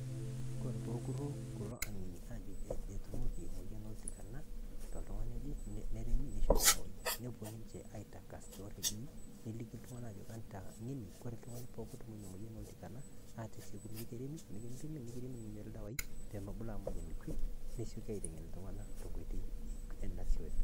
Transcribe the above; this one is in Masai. Kore pookuruu kulo ang'eni ajo kajii atumeeki emoyian e ltikana to ltung'ani aje nereemi neishore eldewai. Nopoo ninchee aitang'as to redio naliki ltung'ana ajo etaa ng'eni , kore ltung'ani pooki otumoo enia omoyian eltikana ateeseku mikireemi nikipiimi nikireemi nikinchorri ldewa pee meebuluu emoyian kwee nishoi ateng'en ltung'ana te nkotoi naishooyo.